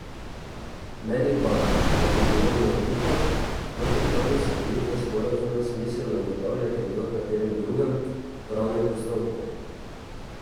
Meni pa, da bi bilo morebitno protipravnost sklenitve sporazuma smiselno ugotavljati v katerem drugem pravnem postopku.